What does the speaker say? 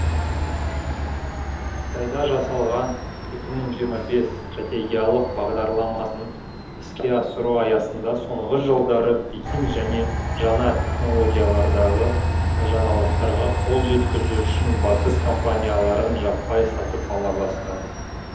қытайда жасалған екі мың жиырма бес стратегиялық бағдарламасын іске асыру аясында соңғы жылдары пекин және жаңа технологиялардағы жаңалықтарға қол жеткізу үшін батыс компанияларын жаппай сатып ала бастады